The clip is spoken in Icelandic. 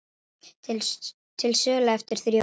Til sölu eftir þrjú ár